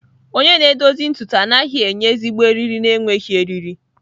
Onye na-edozi ntutu anaghị enye ezigbo eriri na-enweghị eriri.